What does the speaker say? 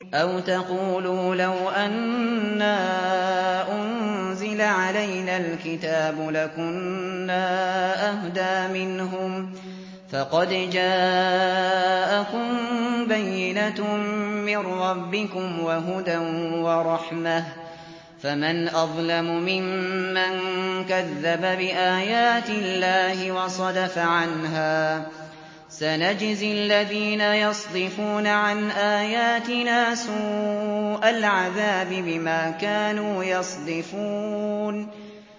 أَوْ تَقُولُوا لَوْ أَنَّا أُنزِلَ عَلَيْنَا الْكِتَابُ لَكُنَّا أَهْدَىٰ مِنْهُمْ ۚ فَقَدْ جَاءَكُم بَيِّنَةٌ مِّن رَّبِّكُمْ وَهُدًى وَرَحْمَةٌ ۚ فَمَنْ أَظْلَمُ مِمَّن كَذَّبَ بِآيَاتِ اللَّهِ وَصَدَفَ عَنْهَا ۗ سَنَجْزِي الَّذِينَ يَصْدِفُونَ عَنْ آيَاتِنَا سُوءَ الْعَذَابِ بِمَا كَانُوا يَصْدِفُونَ